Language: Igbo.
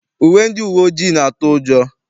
Uwe ndị uwe ojii na-atụ ụjọ.